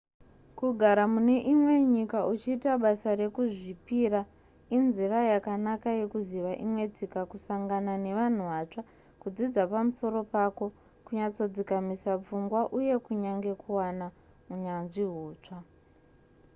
kugara mune imwe nyika uchiita basa rekuzvipira inzira yakanaka yekuziva imwe tsika kusangana nevanhu vatsva kudzidza pamusoro pako kunyatsodzikamisa pfungwa uye kunyange kuwana unyanzvi hutsva